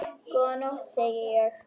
Góða nótt, segi ég.